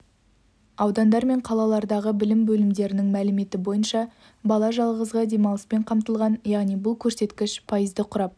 аудандар мен қалалардағы білім бөлімдерінің мәліметі бойынша бала жазғы демалыспен қамтылған яғни бұл көрсеткіш пайызды құрап